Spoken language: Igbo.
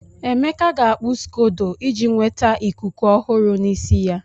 Emeka ga-akpu scodo iji nweta ikuku ọhụrụ n'isi ya.